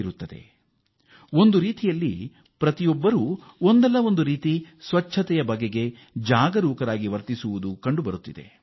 ಈ ಹಾದಿಯಲ್ಲಿ ಪ್ರತಿಯೊಬ್ಬರೂ ಒಮ್ಮತದ ಮಾದರಿಯಲ್ಲಿ ಸ್ವಚ್ಛತೆಯ ಉದ್ದೇಶಕ್ಕಾಗಿ ಒಗ್ಗೂಡಿ ಶ್ರಮಿಸುತ್ತಿದ್ದಾರೆ